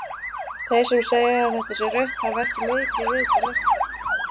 Þeir sem segja að þetta sé rautt hafa ekki mikið vit á leiknum.